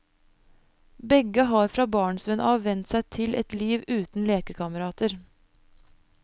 Begge har fra barnsben av vent seg til et liv uten lekekamerater.